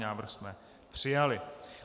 Návrh jsme přijali.